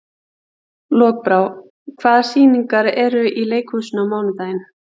Lokbrá, hvaða sýningar eru í leikhúsinu á mánudaginn?